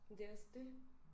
Men det også dét